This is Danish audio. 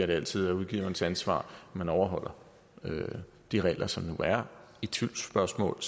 det altid er udgiverens ansvar at man overholder de regler som der nu er i tvivlsspørgsmål